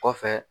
Kɔfɛ